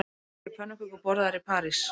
Eru pönnukökur borðaðar í París